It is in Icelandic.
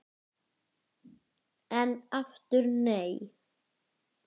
En aftur nei!